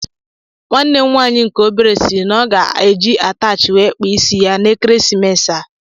Nwanne m nwaanyị nke obere siri na ọ ga-eji atachi wee kpaa ịsị n'ekeresimesi a.